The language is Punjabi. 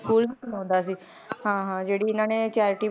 School ਵੀ ਬਣਾਉਂਦਾ ਸੀ ਹਾਂ ਹਾਂ ਜਿਹੜੀ ਇਹਨਾਂ ਨੇ charity